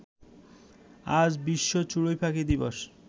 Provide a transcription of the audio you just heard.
আজ বিশ্ব চড়ুইপাখি দিবস